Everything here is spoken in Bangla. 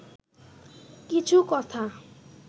কিছু কথা